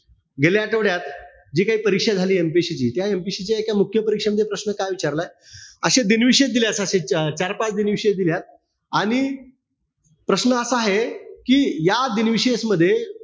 गेल्या आठवड्यात जी काही परीक्षा झाली, MPSC ची, त्या MPSC च्या एका मुख्य परीक्षेमध्ये प्रश्न काय विचारलाय, अशे दिनविशेष अं चार-पाच दिनविशेष दिल्यात. आणि प्रश्न असा आहे, कि या दिनविशेष मध्ये,